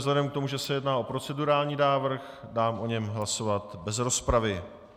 Vzhledem k tomu, že se jedná o procedurální návrh, dám o něm hlasovat bez rozpravy.